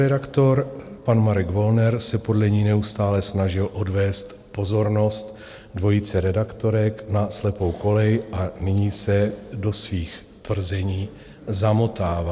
Šéfredaktor, pan Marek Wollner, se podle ní neustále snažil odvést pozornost dvojice redaktorek na slepou kolej a nyní se do svých tvrzení zamotává.